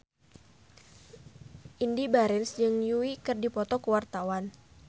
Indy Barens jeung Yui keur dipoto ku wartawan